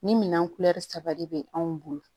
Ni minan saba de bɛ anw bolo